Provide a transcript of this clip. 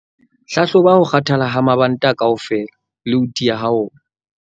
Hlahloba ho kgathala ha mabanta kaofela le ho tiya ha ona.